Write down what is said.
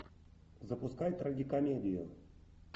запускай трагикомедию